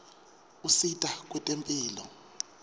usita kwetemphilo